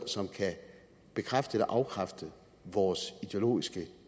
som kan bekræfte eller afkræfte vores ideologiske